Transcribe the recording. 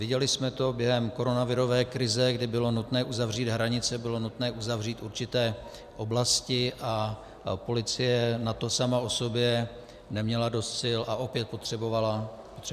Viděli jsme to během koronavirové krize, kdy bylo nutné uzavřít hranice, bylo nutné uzavřít určité oblasti a policie na to sama o sobě neměla dost sil a opět potřebovala posílit.